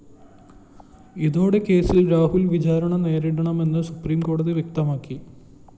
ഇതോടെ കേസില്‍ രാഹുല്‍ വിചാരണ നേരിടണമെന്ന് സുപ്രീംകോടതി വ്യക്തമാക്കി